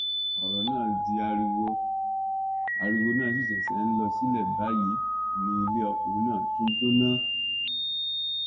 ọrọ náà di ariwo ariwo náà sì ṣẹṣẹ ń lọ sílẹ báyìí ni ilé ọkùnrin náà tún jóná